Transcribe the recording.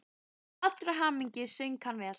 Til allrar hamingju söng hann vel!